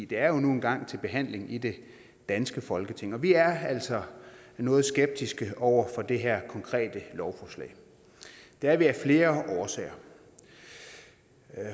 det er nu engang til behandling i det danske folketing og vi er altså noget skeptiske over for det her konkrete lovforslag det er vi af flere årsager